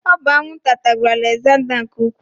Ọ bụ anwụnta tagburu Alegzanda nke Ukwuu.